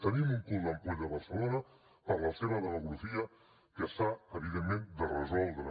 tenim un cul d’ampolla a barcelona per la seva demografia que s’ha evidentment de resoldre